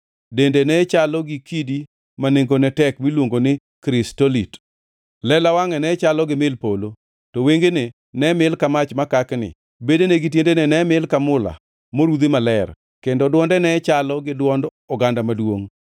Dende nechalo gi kidi ma nengone tek miluongo ni krisolit, lela wangʼe ne chalo gi mil polo, to wengene ne mil ka mach makakni, bedene gi tiendene ne mil ka mula morudhi maler, kendo dwonde ne chalo gi dwond oganda maduongʼ.